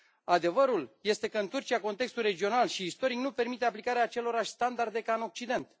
Adevărul este că în Turcia contextul regional și istoric nu permite aplicarea acelorași standarde ca în Occident.